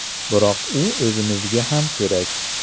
Biroq u o‘zimizga ham kerak.